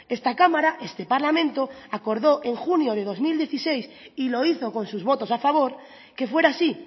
esta cámara este parlamento acordó en junio de dos mil dieciséis y lo hizo con sus votos a favor que fuera así